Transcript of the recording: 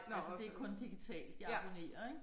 Altså det kun digitalt jeg abonnerer ik